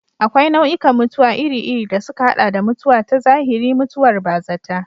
Akwai nau'ikan mutuwa iri-iri, da suka haɗa da mutuwa ta zahiri, mutuwar bazata.